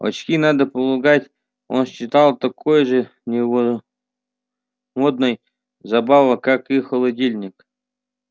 очки надо полагать он считал такой же новомодной забавой как и холодильник